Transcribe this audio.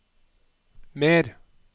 mer